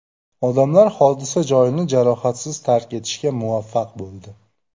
Odamlar hodisa joyini jarohatsiz tark etishga muvaffaq bo‘ldi.